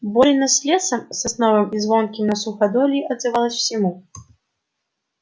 борина с лесом сосновым и звонким на суходоле отзывалась всему